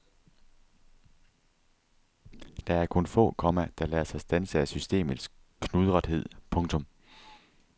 Der er kun få, komma der lader sig standse af systemets knudrethed. punktum